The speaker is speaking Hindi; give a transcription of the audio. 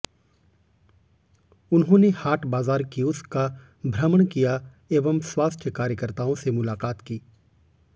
उन्होंने हाट बाज़ार कियोस्क का भ्रमण किया एवं स्वास्थ्य कार्यकर्ताओं से मुलाकात की